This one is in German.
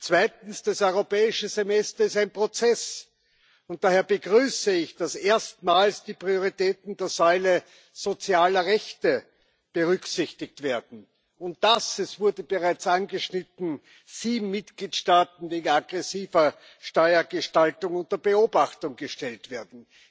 Zweitens Das Europäische Semester ist ein Prozess, und daher begrüße ich, dass erstmals die Prioritäten der Säule sozialer Rechte berücksichtigt werden und dass es wurde bereits angeschnitten viele Mitgliedstaaten wegen aggressiver Steuergestaltung unter Beobachtung gestellt werden.